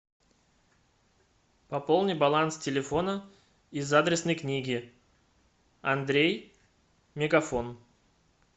пополни баланс телефона из адресной книги андрей мегафон